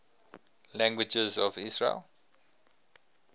languages of israel